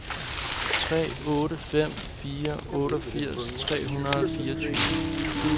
tre otte fem fire otteogfirs tre hundrede og fireogtyve